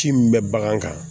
Ci min bɛ bagan kan